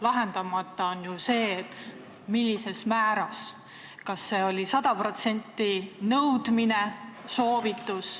Lahendamata on see, millises määras, kas see oli 100%-line nõudmine või soovitus.